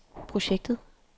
projektet